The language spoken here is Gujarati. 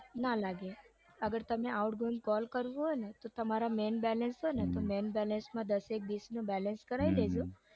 ના લાગે અગર તમે outgoing call કરવો હોય તો તમારું main balance હોય ને તો main balance માં દસેક વીસનું balance કરાવી દેજો